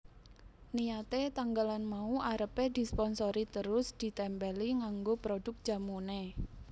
Niyate tanggalan mau arepe disponsori terus ditempeli nganggo produk jamune